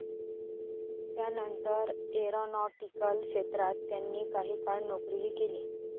त्यानंतर एरॉनॉटिकल क्षेत्रात त्यांनी काही काळ नोकरीही केली.